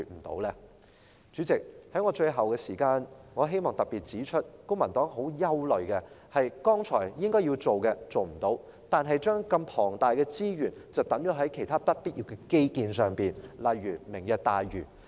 代理主席，最後，在餘下的發言時間，我希望特別指出，公民黨很憂慮的，是政府沒有做到我剛才提到它該要做的事，但卻把龐大的資源投放在不必要的基建上，例如"明日大嶼"。